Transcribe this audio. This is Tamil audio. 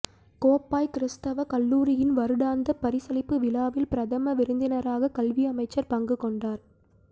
கோப்பாய் கிறீஸ்தவ கல்லூரியின் வருடாந்த பரிசளிப்பு விழாவில் பிரதம விருந்தினராக கல்வி அமைச்சர் பங்கு கொண்டார்